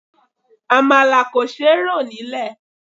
Àmàlà kò ṣe rò nílè.